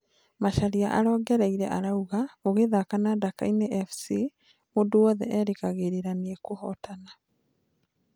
Macharia arongereire arauga ũgithaka na Dakaine Fc mũndũ wothe erĩgagĩrĩra nĩũkũhotona